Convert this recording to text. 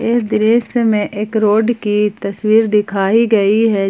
इस दृश्य में एक रोड की तस्वीर दिखाई गई है।